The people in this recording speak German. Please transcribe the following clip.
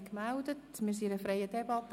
Wir befinden uns in einer freien Debatte.